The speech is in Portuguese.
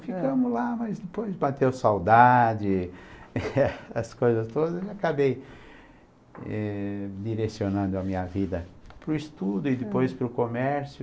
Ficamos lá, mas depois bateu saudade, as coisas todas, e acabei eh, direcionando a minha vida para o estudo e depois para o comércio.